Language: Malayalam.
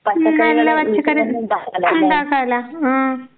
ഉം നല്ല പച്ചക്കറി ഇണ്ടാക്കാലോ ആഹ്